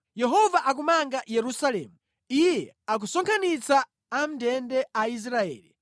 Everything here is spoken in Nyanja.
Yehova akumanga Yerusalemu; Iye akusonkhanitsa amʼndende a Israeli.